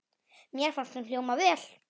Mér fannst hún hljóma vel.